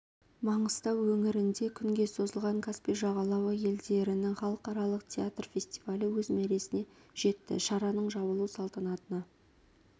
маңғыстау өңірінде күнге созылған каспий жағалауы елдерінің халықаралық театр фестивалі өз мәресіне жетті шараның жабылу салтанатына